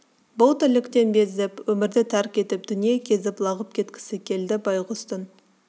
бұл тірліктен безіп өмірді тәрк етіп дүние кезіп лағып кеткісі келді байғұстың